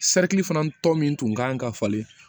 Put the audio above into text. fana tɔ min tun kan ka falen